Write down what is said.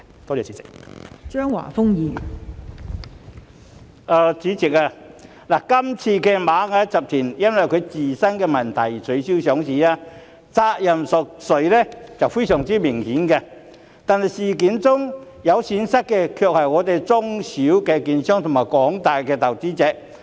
代理主席，這次螞蟻集團因為自身問題而取消上市，責任誰屬顯而易見，但在事件中蒙受損失的卻是中小型券商和廣大投資者。